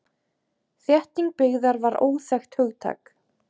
Þétting byggðar var óþekkt hugtak.